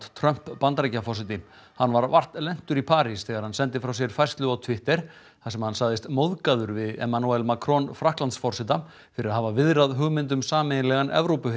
Trump Bandaríkjaforseti hann var vart lentur í París þegar hann sendi frá sér færslu á Twitter þar sem hann sagðist móðgaður við Emmanuel Macron Frakklandsforseta fyrir að hafa viðrað hugmynd um sameiginlegan